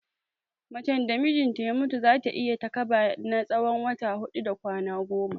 Macen da mijinta ya mutu, za ta yi takaba na tsawon wata huɗu da kwana goma.